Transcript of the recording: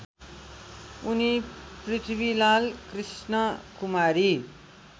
उनी पृथ्वीलाल कृष्णकुमारी